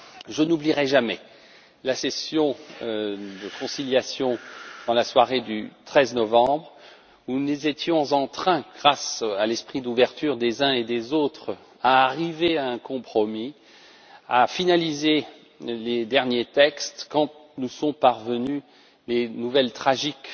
Je n'oublierai jamais la session de conciliation dans la soirée du 13 novembre où nous étions en train, grâce à l'esprit d'ouverture des uns et des autres, d'arriver à un compromis, de finaliser les derniers textes quand nous sont parvenues les nouvelles tragiques